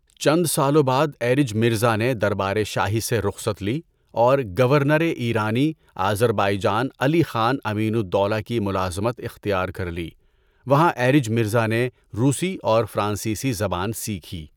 چند سالوں بعد ایرج مرزا نے دربارِ شاہی سے رخصت لی اور گورنر اِیرانی آذربائیجان علی خان امین الدولہ کی ملازمت اِختیار کر لی۔ وہاں ایرج مرزا نے روسی اور فرانسیسی زبان سیکھی۔